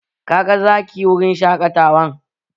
Ka ga Zaki a wurin shaƙatawan?